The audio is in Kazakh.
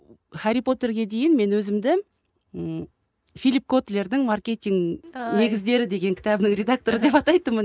хәрри потерге дейін мен өзімді і филипп котлердің маркетинг негіздері деген кітабының редакторы деп атайтынмын